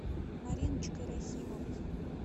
мариночкой рахимовой